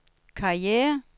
karriere